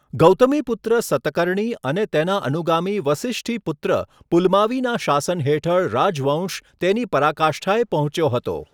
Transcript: ગૌતમીપુત્ર સતકર્ણી અને તેના અનુગામી વસિષ્ઠીપુત્ર પુલમાવીના શાસન હેઠળ રાજવંશ તેની પરાકાષ્ઠાએ પહોંચ્યો હતો.